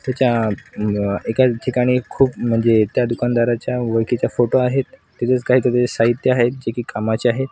त्याचा एकाच ठिकाणी खूप म्हणजे त्या दुकानदाराच्या ओळखीच्या फोटो आहेत तिथेच काहीतरी साहित्य आहेत जे की कामाचे आहेत.